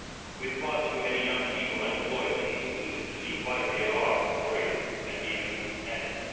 With far too many young people unemployed, it is easy to see why they are worried and even angry.